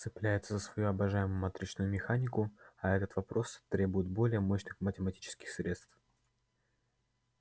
цепляется за свою обожаемую матричную механику а этот вопрос требует более мощных математических средств